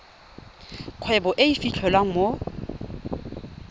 kgwebo e e fitlhelwang mo